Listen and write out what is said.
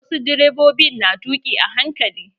Wasu direbobin na tuƙi a hankali.